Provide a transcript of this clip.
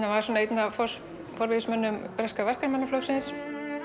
var einn af forvígismönnum breska Verkamannaflokksins